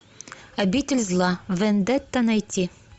обитель зла вендетта найти